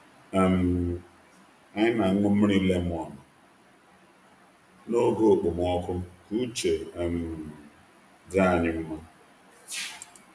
um Anyị na-aṅụ mmiri lemon n’oge okpomọkụ ka uche um dị anyị mma.